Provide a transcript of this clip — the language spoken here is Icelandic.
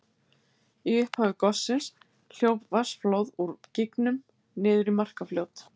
Í upphafi gossins hljóp vatnsflóð úr gígnum niður í Markarfljót.